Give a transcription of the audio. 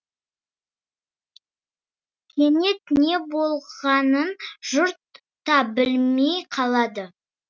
кенет не болғанын жұрт та білмей қалды